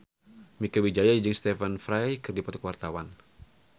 Mieke Wijaya jeung Stephen Fry keur dipoto ku wartawan